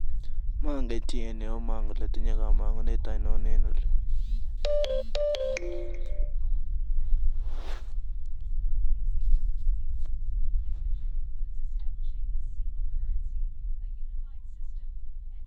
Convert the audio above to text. Meken chi en ireyu amangen kamangunet ainon en olib